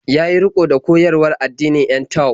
Ya yi riƙo da koyarwar addinin 'yan Tao.